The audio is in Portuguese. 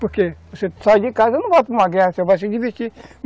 Porque você sai de casa, não vai para uma guerra, você vai se divertir.